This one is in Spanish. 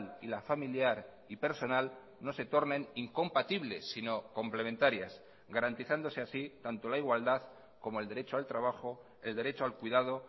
y la familiar y personal no se tornen incompatibles si no complementarias garantizándose así tanto la igualdad como el derecho al trabajo el derecho al cuidado